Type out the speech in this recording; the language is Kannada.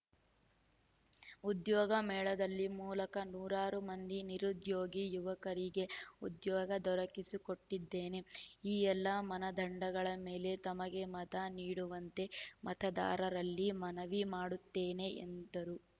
ಉದ್ಯೋಗ ಮೇಳದ ಮೂಲಕ ನೂರಾರು ಮಂದಿ ನಿರುದ್ಯೋಗಿ ಯುವಕರಿಗೆ ಉದ್ಯೋಗ ದೊರಕಿಸಿಕೊಟ್ಟಿದ್ದೇನೆ ಈ ಎಲ್ಲ ಮಾನದಂಡಗಳ ಮೇಲೆ ತಮಗೆ ಮತ ನೀಡುವಂತೆ ಮತದಾರರಲ್ಲಿ ಮನವಿ ಮಾಡುತ್ತೇನೆ ಎಂದರು